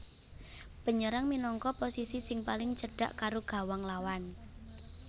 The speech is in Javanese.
Penyerang minangka posisi sing paling cedhak karo gawang lawan